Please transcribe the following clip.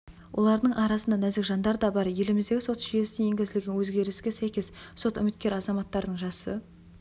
олардың арасында нәзік жандар да бар еліміздегі сот жүйесіне енгізілген өзгеріске сәйкес сот үміткер азаматтардың жасы